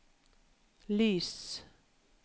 lys